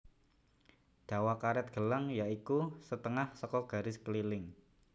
Dawa karet gelang ya iku setengah saka garis keliling